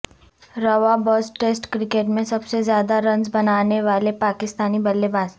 رواں برس test cricket میں سب سے زیادہ رنز بنانے والے پاکستانی بلے باز